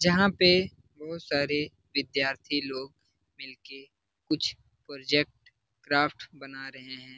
जहां पे बहुत सारे विद्यार्थी लोग मिल के कुछ प्रोजेक्ट क्राफ्ट बना रहे है।